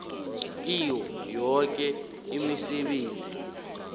kiyo yoke imisebenzi